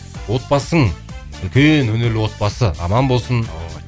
отбасың үлкен өнерлі отбасы аман болсын